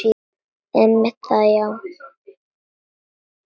Einmitt það já.